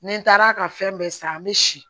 Ni taara ka fɛn bɛɛ san an bɛ si